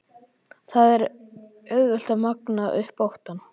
Það er auðvelt að magna upp óttann.